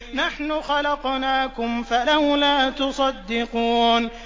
نَحْنُ خَلَقْنَاكُمْ فَلَوْلَا تُصَدِّقُونَ